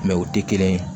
o tɛ kelen ye